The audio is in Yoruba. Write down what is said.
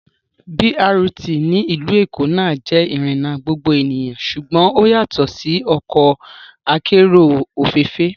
BRT ní ìlú Èkó náà jẹ́ ìrìnà gbogbo ènìyàn ṣùgbọ́n ó yàtọ̀ sí ọkọ akérò òféèfé